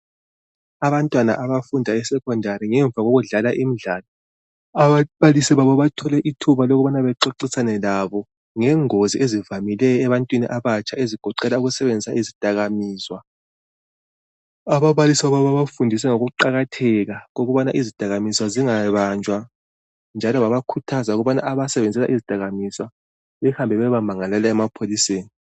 Abantwana babfunda esecondary ngemva kokudlala imidlalo ababalisi babo babatholele ithuba lokubana baxoxisane labo ngengozi ezivamileyo ebantwini abatsha ezigoqela ukusebenzisa izidakamizwa. Ababalisi babafundisa ngokuqakatheka ukubana izidakamizwa zingabanjwa njalo babakhuthaza ukubana abasebenzela izidakamiswa behambe beyebamangalela emapholiseni.